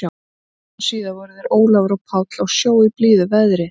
Tveimur dögum síðar voru þeir Ólafur og Páll á sjó í blíðu veðri.